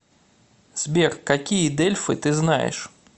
сбер какие дельфы ты знаешь